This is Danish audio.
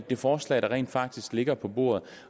det forslag der rent faktisk ligger på bordet